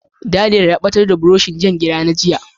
Daniel ya batar da buroshin kwanan Jan gira na jiya.